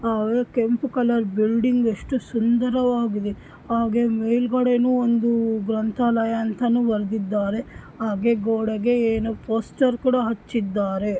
ಓಹ್ ಸರಿ. ಮತ್ತೆ ಚಿನ್ನವನ್ನು ಪಡೆಯಲು ಕರೆಯಲ್ಪಡುವ ಕಟ್ಟಡಗಳು ಬಂಗಾರವನ್ನು ಪಡೆಯುತ್ತಿವೆ. ಸಾಕು ಮಗು.